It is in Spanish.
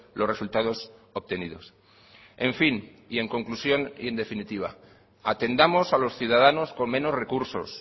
los resultados obtenidos en fin en conclusión y en definitiva atendamos a los ciudadanos con menos recursos